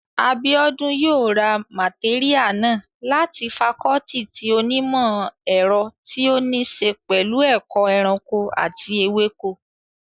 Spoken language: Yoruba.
Abíọ́dún yóò ra màtéríà náà láti fakọọti ti onímọ̀ ẹ̀rọ tí ó ní ṣe pẹ̀lú ẹ̀kọ́ ẹranko àti ewéko